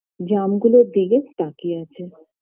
জামগুলোর দিকে তাকিয়ে আছে